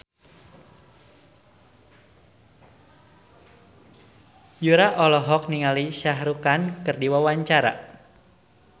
Yura olohok ningali Shah Rukh Khan keur diwawancara